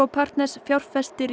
partners fjárfestir í